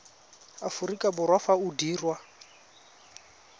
aforika borwa fa o dirwa